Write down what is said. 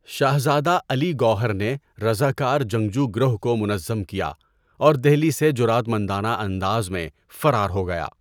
شہزادہ علی گوہر نے رضاکار جنگجو گروہ کو منظم کیا اور دہلی سے جرأت مندانہ انداز میں فرار ہوگیا۔